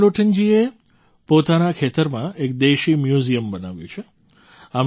રામલોટનજીએ પોતાના ખેતરમાં એક દેશી મ્યૂઝિયમ બનાવ્યું છે